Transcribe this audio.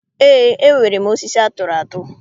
Eé, enwere m osisi atụrụ atụ.